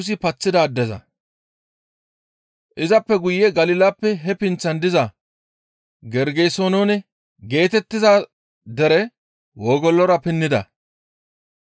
Izappe guye Galilappe he pinththan diza Gergesenoone geetettiza dere wogolora pinnida.